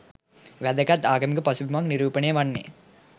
වැදගත් ආගමික පසුබිමක් නිරූපණය වන්නේ